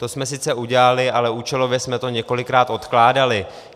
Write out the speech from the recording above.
To jsme sice udělali, ale účelově jsme to několikrát odkládali.